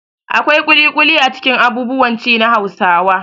Akwai ƙuliƙuli a cikin abubuwan ci na Hausawa.